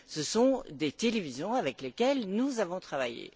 Ce sont des télévisions avec lesquelles nous avons travaillé.